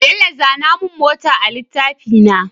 Bello zana mun mota a litafina